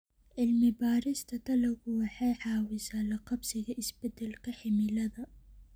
Cilmi-baarista dalaggu waxay caawisaa la qabsiga isbeddelka cimilada.